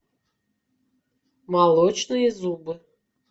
молочные зубы